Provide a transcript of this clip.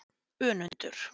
Önundur